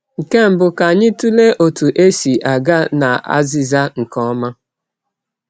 Nke mbụ, ka anyị tụlee otú e si aga n’azịza nke ọma.